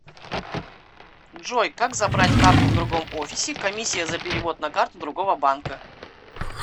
джой как забрать карту в другом офисе комиссия за перевод на карту другого банка